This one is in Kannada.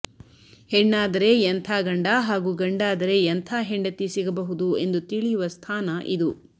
ಹೆಣ್ಣಾದರೆ ಎಂಥ ಗಂಡ ಹಾಗೂ ಗಂಡಾದರೆ ಎಂಥ ಹೆಂಡತಿ ಸಿಗಬಹುದು ಎಂದು ತಿಳಿಯುವ ಸ್ಥಾನ ಇದು